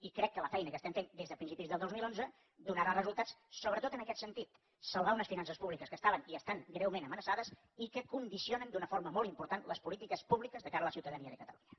i crec que la feina que estem fent des de principis del dos mil onze donarà resultats sobretot en aquest sentit salvar unes finances públiques que estaven i estan greument amenaçades i que condicionen d’una forma molt important les polítiques públiques de cara a la ciutadania de catalunya